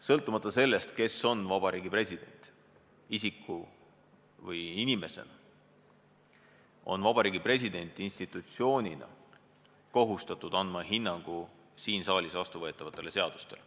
Sõltumata sellest, kes on riigi president isiku või inimesena, on Vabariigi President institutsioonina kohustatud andma hinnangu siin saalis vastu võetavatele seadustele.